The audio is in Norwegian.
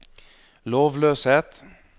lovløshet